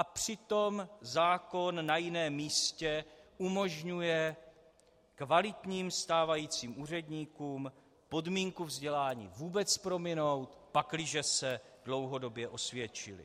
A přitom zákon na jiném místě umožňuje kvalitním stávajícím úředníkům podmínku vzdělání vůbec prominout, pakliže se dlouhodobě osvědčili.